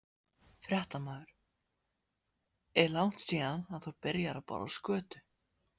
Fréttamaður: Er langt síðan að þú byrjaðir að borða skötu?